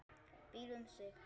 Býr um sig.